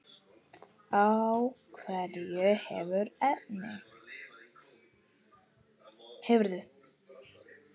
Á hverju hefurðu efni?